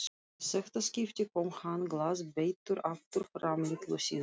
Í þetta skipti kom hann glaðbeittur aftur fram litlu síðar.